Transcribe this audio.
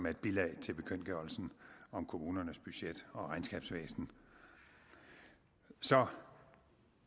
et bilag til bekendtgørelsen om kommunernes budget og regnskabsvæsen så